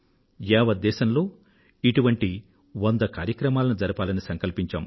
యావద్దేశంలో ఇటువంటి వంద కార్యక్రమాలను జరపాలని సంకల్పించాం